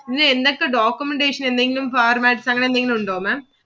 ഇത് എന്തൊക്കെ documentation ന് എന്തെങ്കിലും formats അങ്ങിനെ എന്തെങ്കിലും ഉണ്ടോ Maám